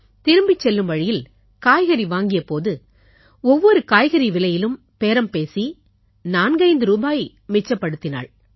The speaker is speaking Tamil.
திரும்பிச் செல்லும் வழியில் காய்கறி வாங்கிய போது ஒவ்வொரு காய்கறிக் விலையிலும் பேரம் பேசி 45 ரூபாய் மிச்சப்படுத்தினாள்